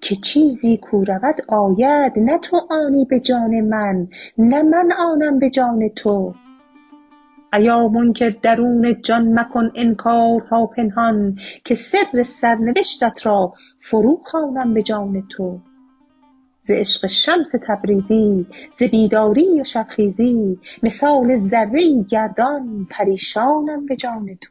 که چیزی کو رود آید نه تو آنی به جان من نه من آنم به جان تو ایا منکر درون جان مکن انکارها پنهان که سر سرنوشتت را فروخوانم به جان تو ز عشق شمس تبریزی ز بیداری و شبخیزی مثال ذره ای گردان پریشانم به جان تو